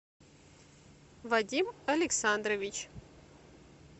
вадим александрович